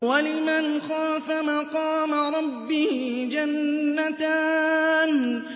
وَلِمَنْ خَافَ مَقَامَ رَبِّهِ جَنَّتَانِ